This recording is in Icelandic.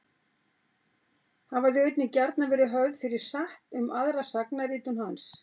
Hafa þau einnig gjarnan verið höfð fyrir satt um aðra sagnaritun hans.